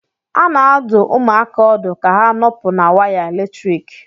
A na-adụ ụmụaka ọdụ ka ha nọpụ na waya eletrik